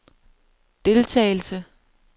deltagelse